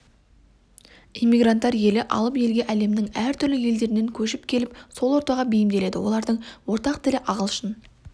иммигранттар елі алып елге әлемнің әртүрлі елдерінен көшіп келіп сол ортаға бейімделеді олардың ортақ тілі ағылшын